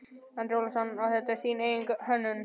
Andri Ólafsson: Og þetta er þín eigin hönnun?